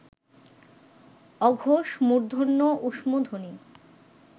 অঘোষ মূর্ধন্য ঊষ্মধ্বনি